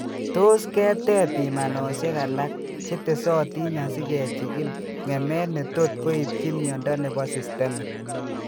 Tos keteb pimanosiek alak chetesotin asikechigil ng'emet netot koibchi myondo nebo systemic